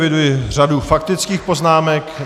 Eviduji řadu faktických poznámek.